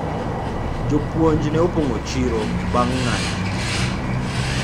walimu walijaa sokoni baada ya mgomo